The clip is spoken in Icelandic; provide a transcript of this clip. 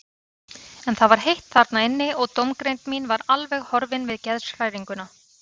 En það var heitt þarna inni og dómgreind mín var alveg horfin við geðshræringuna.